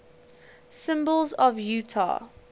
symbols of utah